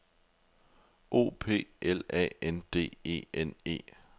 O P L A N D E N E